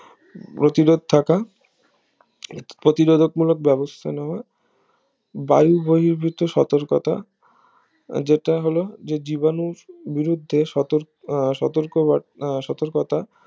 প্রতিরোধ থাকা প্রতিরোধক মূলক বেবস্থা নেওয়া বায়ু বহির্বিত সতর্কতা যেটা হলো যে জীবাণুর বিরুদ্ধে সতর্ক সতর্কবার্তা সতর্কতা